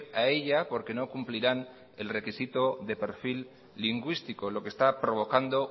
a ella porque no cumplirán el requisito de perfil lingüístico lo que está provocando